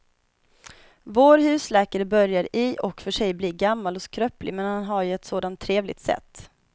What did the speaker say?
Vår husläkare börjar i och för sig bli gammal och skröplig, men han har ju ett sådant trevligt sätt!